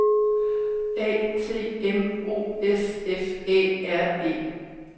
A T M O S F Æ R E